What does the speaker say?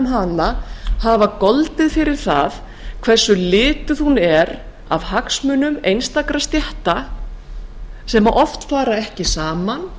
hana hafa goldið fyrir það hversu lituð hún er af hagsmunum einstakra stétta sem oft fara ekki saman